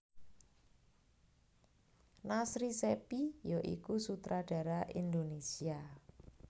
Nasri Cheppy ya iku sutradara Indonesia